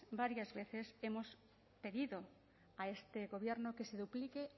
varias veces hemos pedido a este gobierno que se duplique